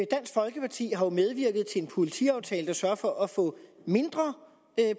folkeparti har jo medvirket til en politiaftale der sørger for at få mindre